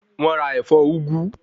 Wọ́n ra ẹ̀fọ́ úgú